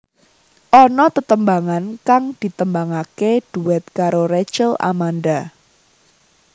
Ana tetembangan kang ditembangaké duet karo Rachel Amanda